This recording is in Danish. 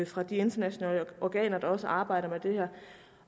fra de internationale organer der også arbejder med det her